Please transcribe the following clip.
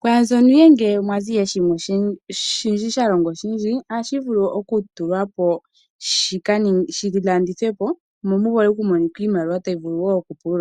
pwaambyono ihe ngele pwazi shimwe shalongwa oshindji ohashi vulu oku tulwapo shi landithwepo mo muvule okumonika iimaliwa tayi vulu woo oku oku pulula.